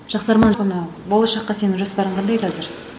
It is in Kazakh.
жақсы арман болашаққа сенің жоспарың қандай қазір